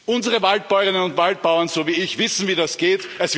Unsere Waldbäuerinnen und Waldbauern, so wie ich, wissen, wie das geht.